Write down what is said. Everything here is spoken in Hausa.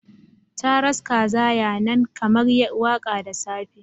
Caran kaza ya nan kamar waka da safe